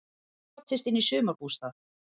Brotist inn í sumarbústað